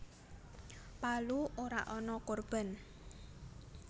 Palu ora ana korban